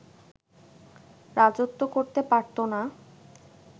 রাজত্ব করতে পারতো না